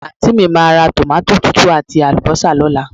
Àntí mi máa ra tòmátò tútù àti àlùbọ́sà lóla